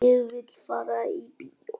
Ég vil fara í bíó